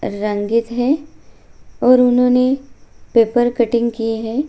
रंगित है और उन्होंने पेपर कट्टिंग किए है।